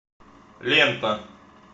лента